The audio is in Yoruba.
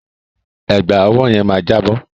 Ẹ̀gbà ọwọ́ yẹn máa jábọ́.